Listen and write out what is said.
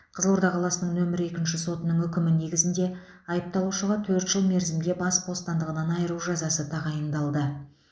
қызылорда қаласының нөмір екінші сотының үкімі негізінде айыпталушыға төрт жыл мерзімге бас бостандығынан айыру жазасы тағайындалды